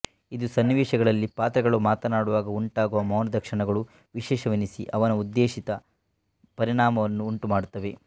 ಇದು ಸನ್ನಿವೇಶಗಳಲ್ಲಿ ಪಾತ್ರಗಳು ಮಾತನಾಡುವಾಗ ಉಂಟಾಗುವ ಮೌನದ ಕ್ಷಣಗಳು ವಿಶೇಷವೆನಿಸಿ ಅವನ ಉದ್ದೇಶಿತ ಪರಿಣಾಮವನ್ನು ಉಂಟುಮಾಡುತ್ತವೆ